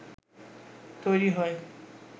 তৈরী হয়